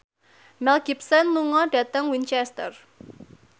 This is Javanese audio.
Mel Gibson lunga dhateng Winchester